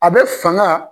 A bɛ fanga